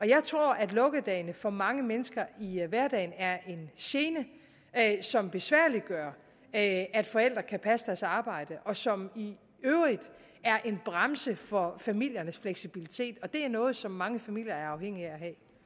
jeg tror at lukkedagene for mange mennesker i hverdagen er en gene som besværliggør at at forældre kan passe deres arbejde og som i øvrigt er en bremse for familiernes fleksibilitet og det er noget som mange familier er afhængige af